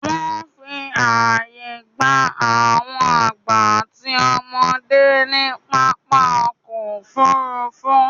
Wọ́n fi àyè gba àwọn àgbà àti ọmọdé ní pápá ọkọ̀-òfurufú.